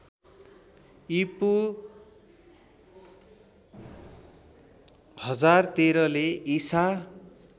ईपू १०१३ ले ईसा